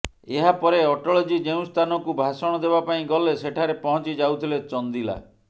ଏହାପରେ ଅଟଳଜୀ ଯେଉଁ ସ୍ଥାନକୁ ଭାଷଣ ଦେବାପାଇଁ ଗଲେ ସେଠାରେ ପହଞ୍ଚି ଯାଉଥିଲେ ଚନ୍ଦିଲା